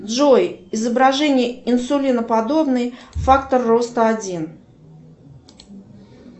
джой изображение инсулиноподобной фактор роста один